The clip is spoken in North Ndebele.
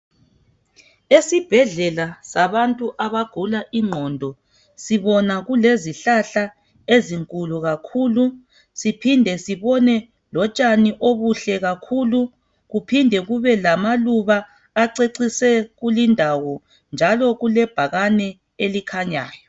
Esibhedlela sabantu abagula ingqondo sibona kulezihlahla ezinkulu kakhulu ,siphinde sibone lotshani obuhle kakhulu ,kuphinde kubelamaluba acecise lindawo njalo kulebhakane elikhanyayo.